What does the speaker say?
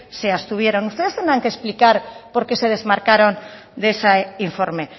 se abstuvieron ustedes tendrán que explicar por qué se desmarcaron de ese informe